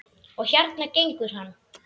Og hérna gengur hann.